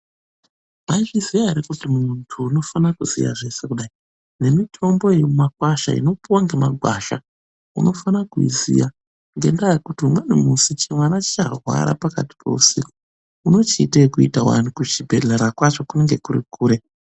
Mwaizviziya ere kuti munhu unofane kuziya zveshe kudai, nemitombo yemumakwasha inopuwa ngemagwasha, unofana kuziya. Ngendaa yekuti umweni musi chimwana chicharwara pakati peusiku. Unochiite ekuita wani kuchibhedhlera kwacho kunenge kuri kure.